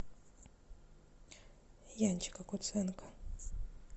янчика куценко